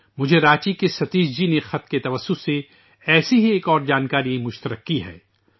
مجھےرانچی کے ستیش جی نے ایک خط کے ذریعہ ایسی ہی ایک جانکاری شیئر کی ہے